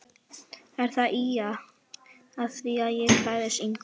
Er hann að ýja að því að ég klæðist engu?